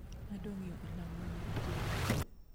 Adwa ng'eyo olang' mane iketo